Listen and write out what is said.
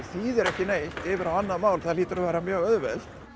þýðir ekki neitt yfir á annað mál hlýtur að vera mjög auðvelt